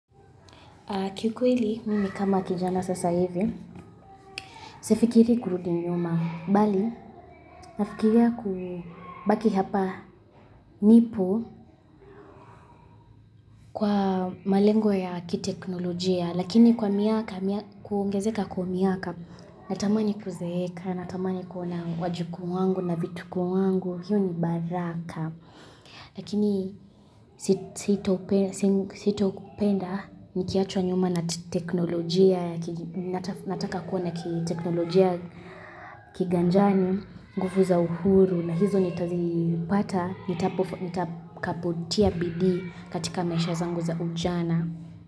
Kikweli, mimi kama kijana sasa hivi, sifikiri kurudi nyuma mbali nafikiria kubaki hapa nipo kwa malengo ya kiteknolojia, lakini kwa miaka, kuongezeka kwa miaka, natamani kuzeeka, natamani kuona wajukuu wangu na vitukuu wangu, hiyo ni baraka. Lakini sitopenda nikiachwa nyuma na teknolojia Nataka kuwa na kiteknolojia kiganjani, nguvu za uhuru na hizo nitazipata nitakapotia bidii katika maisha zangu za ujana.